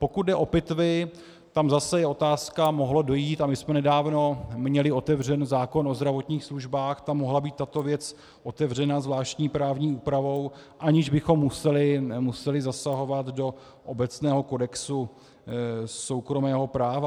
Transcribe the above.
Pokud jde o pitvy, tam zase je otázka - mohlo dojít, a my jsme nedávno měli otevřen zákon o zdravotních službách, tam mohla být tato věc otevřena zvláštní právní úpravou, aniž bychom museli zasahovat do obecného kodexu soukromého práva.